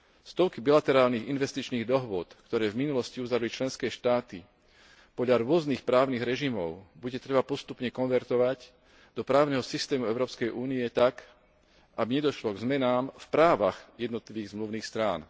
Stovky bilaterálnych investičných dohôd, ktoré v minulosti uzavreli členské štáty podľa rôznych právnych režimov, bude potrebné postupne konvertovať do právneho systému Európskej únie tak, aby nedošlo k zmenám v právach jednotlivých zmluvných strán.